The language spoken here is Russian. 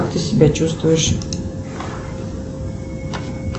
как ты себя чувствуешь